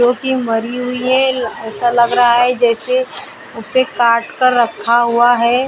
दो तीन मरी हुई है ऐसा लग रहा है जैसे उसे काट कर रखा हुआ है।